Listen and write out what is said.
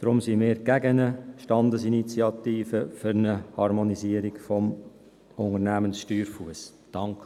Deswegen sind wir gegen eine Standesinitiative für eine Harmonisierung des Unternehmenssteuerfusses.